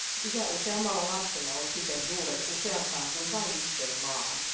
Yhä useammalla lapsella on siten juuret useampaan kuin vain yhteen maahan.